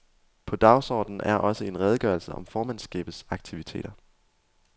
På dagsordenen er også en redegørelse om formandsskabets aktiviteter.